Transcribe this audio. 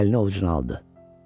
Əlini ovcuna aldı.